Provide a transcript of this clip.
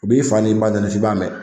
U b'i fa ni ba neni f'i b'a mɛn